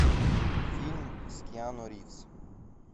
фильм с киану ривз